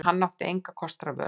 En hann átti engra kosta völ.